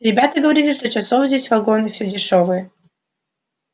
ребята говорили что часов здесь вагон и все дешёвые